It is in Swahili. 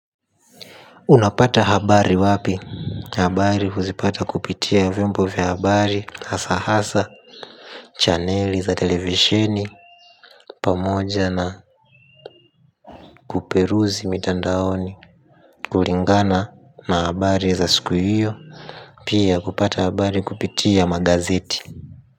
Unapata habari wapi habari huzipata kupitia vyombo vya habari hasa hasa chaneli za televisheni pamoja na kuperuzi mitandaoni kulingana na habari za siku hiyo pia kupata habari kupitia magazeti.